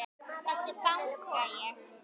Þessu fagna ég.